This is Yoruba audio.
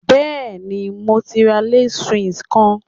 Yes, I have bought a Swiss Lace